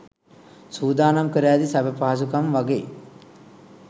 සූදානම් කර ඇති සැප පහසුකම් වගෙයි.